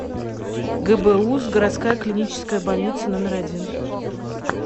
гбуз городская клиническая больница номер один